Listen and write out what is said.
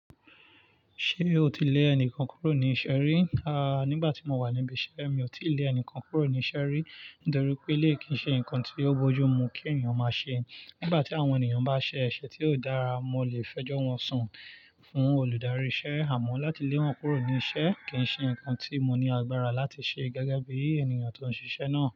Ṣé o ti lé ẹnìkan kúrò ní iṣẹ́ rí? A, nígbà tí mo wà níbi iṣẹ́, mi ò tí ì lé ẹnìkan kúrò ní iṣẹ́ rí. Nítorí pé eléyi kí í ṣe nǹkan tí yóò bójú mu kí ènìyàn máa ṣe. Nígbà tí àwọn ènìyàn bá ṣe ẹ̀ṣẹ̀ tí ó dára, mo lè fẹjọ́ wọn sún fún olùdarí iṣẹ́. Àmọ́ láti lé yann kúrò ní iṣẹ́ kì í ṣe nǹkan tí mo ní agbára láti ṣe gege bí ènìyàn tó ń ṣiṣẹ́ náà.